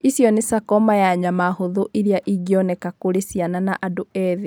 Ĩcio nĩ sarcoma ya nyama hũthũ ĩrĩa ĩngĩoneka kũrĩ ciana na andũ ethĩ.